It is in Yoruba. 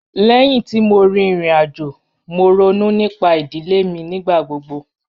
Lẹ́hin tí mo rí ìrìn-àjò, mo rònú nípà idilẹ̀ mi nígbàgbọ̀gbọ̀.